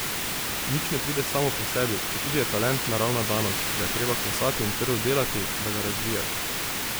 Nič ne pride samo po sebi, četudi je talent naravna danost, ga je treba klesati in trdo delati, da ga razvijaš.